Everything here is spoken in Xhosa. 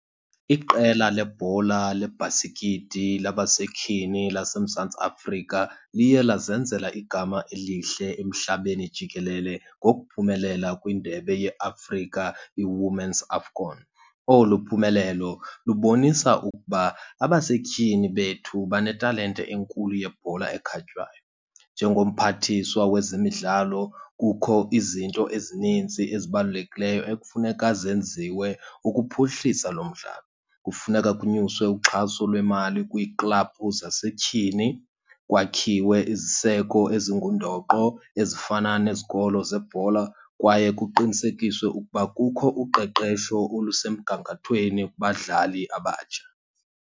Iqela lebhola lebhasikiti labasetyhini laseMzantsi Afrika liye lazenzela igama elihle emhlabeni jikelele ngokuphumelela kwiNdebe yeAfrika iWomen's AFCON. Olu phumelelo lubonisa ukuba abasetyhini bethu banetalente enkulu yebhola ekhatywayo. NjengoMphathiswa wezeMidlalo kukho izinto ezinintsi ezibalulekileyo ekufuneka zenziwe ukuphuhlisa lo mdlalo. Kufuneka kunyuswe uxhaso lwemali kwiiklabhu zasetyhini, kwakhiwe iziseko ezingundoqo ezifana nezikolo zebhola, kwaye kuqinisekiswe ukuba kukho uqeqesho olusemgangathweni kubadlali abatsha.